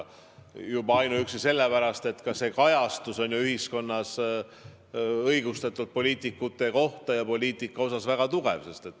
Juba ainuüksi sellepärast, et ka kajastus ühiskonnas poliitikute ja poliitika kohta on õigustatult väga tugev.